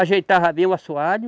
Ajeitava bem o assoalho,